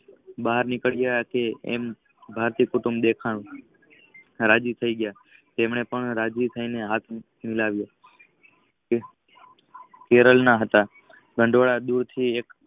બાર નીકળયા છે આમ હાથી કુટુમ્ભ દેખાઈ. રાજી થાય ગયા તેમને રાજી થઇને હાથ મિલાવીઓ. કેરળના હતા.